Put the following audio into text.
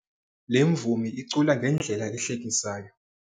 Le mvumi icula ngendlela ehlekisayo.